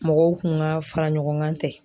Mɔgɔw kun ka fara ɲɔgɔn kan tɛ.